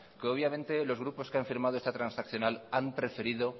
que obviamente los grupos que han firmado esta transaccional han preferido